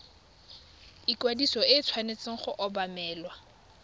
ikwadiso e tshwanetse go obamelwa